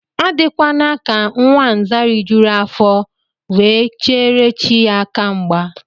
Adịkwana ka nwa Nza rijuru afọ, we ke chere chi ya aka mgba